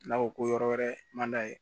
N'a ko ko yɔrɔ wɛrɛ man d'a ye